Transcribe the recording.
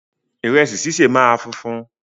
Ìrẹsì ṣíṣe máa funfun